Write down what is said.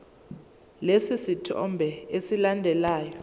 lesi sithombe esilandelayo